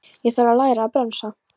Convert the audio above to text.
Ég þarf að læra að bremsa.